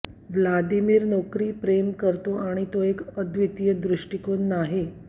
Vladimir नोकरी प्रेम करतो आणि तो एक अद्वितीय दृष्टिकोन नाही